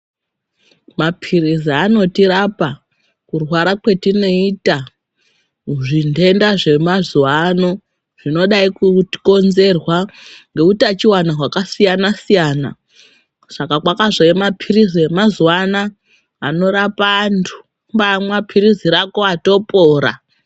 Maphirizi anotirapa kurwara kwatineyita zvindenda zvemazuwano zvinodayi kukonzerwa nowutachiwana wakasiyana siyana. Saka kwakazouye maphiritsi emazuwana anorapa antu. Ukamwa phirizi rako watopora.